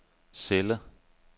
celle